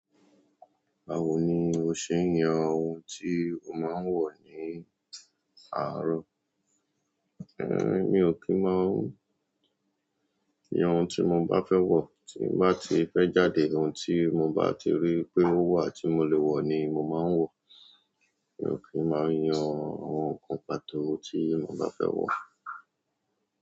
Báwo ni o ṣe ń yan ohun tí o máa ń wọ̀ ní àárọ̀? Ehn, mi ò kí ń máa ń ohun tí mo bá fẹ́ wọ̀, tí n bá ti fẹ́ jáde ohun tí mo bá ti rí wípé ó wà tí mo lè wọ̀ ni mo máa ń wọ̀. Mi ò kí ń máa yan àwọn nǹkan pàtó tí mo bá fẹ́ wọ̀.